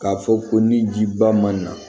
K'a fɔ ko ni ji ba man